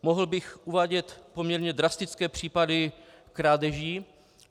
Mohl bych uvádět poměrně drastické případy krádeží.